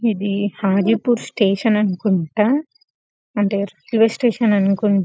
ఇది హాజీపూర్ స్టేషన్ అనుకుంటా అంటే రైల్వే స్టేషన్ అనుకుంటా--